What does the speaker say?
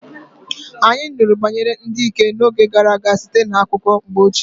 Anyị nụrụ banyere ndị dike n'oge gara aga site na akụkọ mgbe ochie.